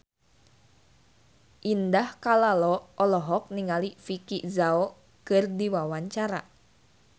Indah Kalalo olohok ningali Vicki Zao keur diwawancara